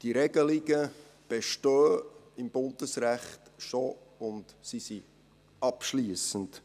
Diese Regelungen bestehen im Bundesrecht bereits und sie sind dort abschliessend.